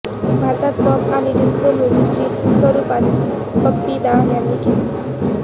भारतात पॉप आणि डिस्को म्युझिकची सुरूवात बप्पी दा यांनी केली